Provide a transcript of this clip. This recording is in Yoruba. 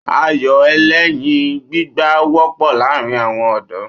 Ayò ẹlẹ́yin gbígbá wọ́pọ̀ láàrin àwọn ọ̀dọ́